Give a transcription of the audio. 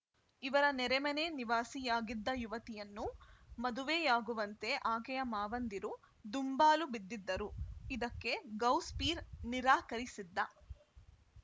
ಇವರ ನೆರೆಮನೆ ನಿವಾಸಿಯಾಗಿದ್ದ ಯುವತಿಯನ್ನು ಮದುವೆಯಾಗುವಂತೆ ಆಕೆಯ ಮಾವಂದಿರು ದುಂಬಾಲು ಬಿದ್ದಿದ್ದರು ಇದಕ್ಕೆ ಗೌಸ್‌ಪೀರ್‌ ನಿರಾಕರಿಸಿದ್ದ